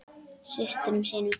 Systrum sínum.